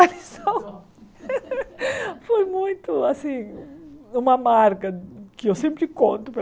A lição foi muito, assim, uma marca que eu sempre conto para